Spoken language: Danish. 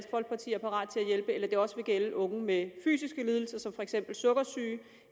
hjælpe eller om det også vil gælde unge med fysiske lidelser som for eksempel sukkersyge